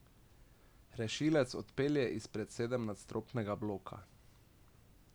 Rešilec odpelje izpred sedemnadstropnega bloka.